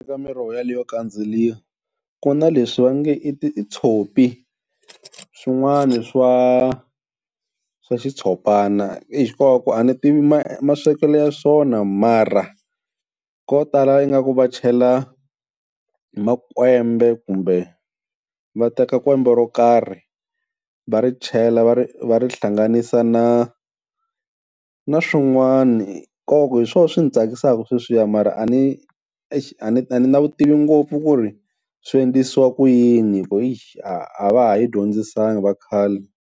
Miroho leyo kandzeriwa ku na leswi va nge i titshopi swin'wana swa swa xitshopana, exi kova ku a ni tivi maswekelo ya swona mara ko tala ingaku va chela makwembe kumbe va teka kwembe ro karhi va ri chela va ri va ri hlanganisa na na swin'wani, kova ku hi swona swi ndzi tsakisaka sweswiya mara a ni exi a ni na vutivi ngopfu ku ri swi endlisiwa ku yini, hi ku exi a a va ha hi dyondzisangi vakhale.